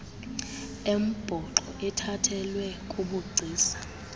embhoxo ethathelwe kubugcisa